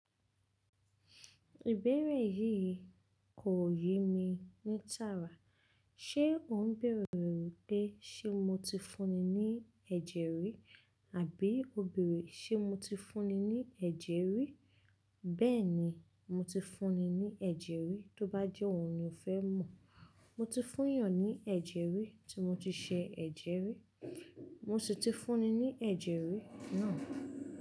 Ìbéèrè yìí kò yé mi ní tààrà. Ṣé ò ń bèèrè pé ṣé mo ti fúnni ní ẹ̀jẹ̀ rí? Àbí ó bèèrè ṣé mo ti fúnni ní ẹ̀jẹ̀ rí? Bẹ́ẹ̀ni, mo ti fúnni ní ẹ̀jẹ̀ rí, tó bá jẹ́ òhun ni o fẹ́ mọ̀. Mo ti fún yàn ní ẹ̀jẹ̀ rí tí mo ti ṣe ẹ̀jẹ̀ rí. Mo sì ti fúnni ní ẹ̀jẹ̀ rí náà.